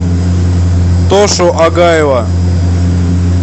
тошу агаева